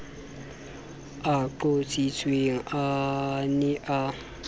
a qotsitsweng a ne a